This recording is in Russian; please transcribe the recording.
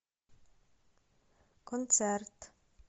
концерт